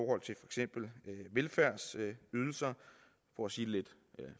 eksempel velfærdsydelser for at sige det lidt